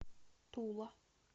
тула